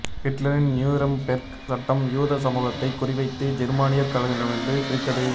ஹிட்லரின் நியூரெம்பெர்க் சட்டம் யூத சமூகத்தைக் குறிவைத்து ஜெர்மானியர்களிடமிருந்து பிரித்தது